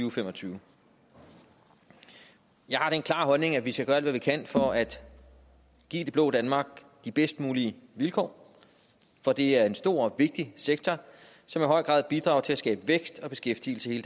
og fem og tyve jeg har den klare holdning at vi skal gøre alt hvad vi kan for at give det blå danmark de bedst mulige vilkår for det er en stor og vigtig sektor som i høj grad bidrager til at skabe vækst og beskæftigelse i